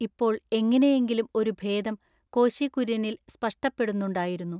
ഇപ്പോൾ എങ്ങിനെയെങ്കിലും ഒരു ഭേദം കോശി കുര്യനിൽ സ്പഷ്ടപ്പെടുന്നുണ്ടായിരുന്നു.